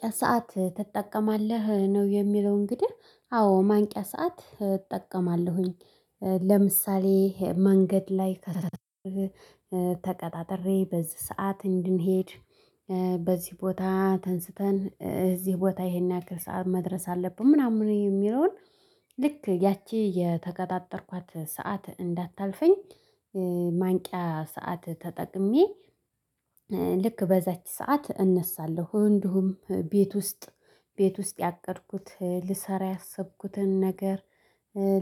ማንቂያ ሰዓት ትጠቀማለህ ነው? የሚለው እንግዲህ አዎ ማንቂያ ሰዓት እጠቀማለሁኝ። ለምሳሌ መንገድ ላይ። ተቀጣጥሬ በዚህ ሰዓት እንድንሄድ በዚህ ቦታ ተንስተን እዚህ ቦታ ይሄን ያነገርን መድረስ አለብን ምናምን የሚለውን። ልክ ያቺ የተከታተርኳት ሰዓት እንዳታልፈኝ። ማንቂያ ሰዓት ተጠቅሜ። ልክ በዛች ሰዓት እነሳለሁ እንዲሁም ቤት ውስጥ ቤት ውስጥ ያቀድኩት ልሰራ ያሰብኩትን ነገር።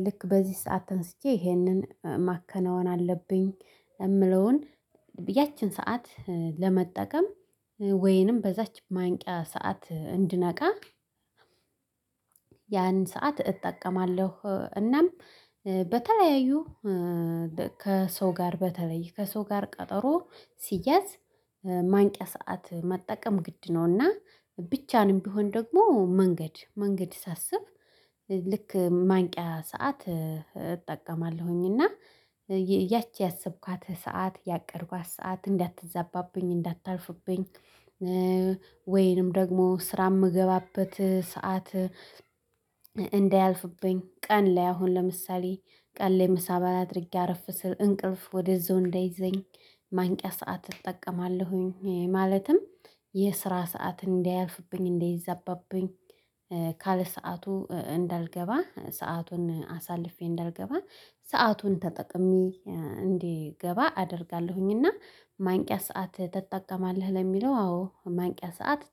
ልክ በዚህ ሰዓት ተንስጄ ይሄንን ማከናወን አለብኝ። የምለውን ያቺን ሰዓት ለመጠቀም ወይንም በዛች ማንቂያ ሰዓት እንድነቃ። ያንን ሰዓት እጠቀማለሁ። እናም በተለያዩ ከሰው ጋር በተለይ ከሰው ጋር ቀጠሮ ሲያዝ ማንቂያ ሰዓት መጠቀም ግድ ነውና። ብቻንም ቢሆን ደግሞ መንገድ መንገድ ሳስብ። ልክ ማንቂያ ሰዓት እጠቀማለሁኝ እና ያቺ ያሰብኳት ሰዓት ያቀድኳት ሰዓት እንዳትዛባብኝ እንዳታልፍብኝ። ወይንም ደግሞ ስራ የምገባበት ሰዓት እንዳያልፍብኝ ቀን ላይ አሁን ለምሳሌ ቀን ላይ ምሳ በላ አድርጌ አረፍ ስል እንቅልፍ ወደዛው እንዳይዘኝ። ማንቂያ ሰዓት እጠቀማለሁኝ ማለትም የስራ ሰዓት እንዳያልፍብኝ እንዳይዛባብኝ። ካለሰአቱ እንዳልገባ ሰአቱን አሳልፌ እንዳልገባ ሰአቱን ተጠቅሜ እንድገባ አደርጋለሁኝ። እና ማንቂያ ሰዓት ትጠቀማለህ ለሚለው አዎ ማንቂያ ሰዓት